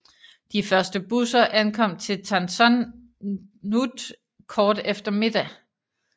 De første busser ankom til Tan Son Nhut kort efter middag